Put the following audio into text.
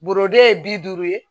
Borode ye bi duuru ye